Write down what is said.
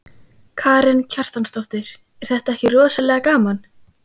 Karen Kjartansdóttir: Er þetta ekki rosalega gaman?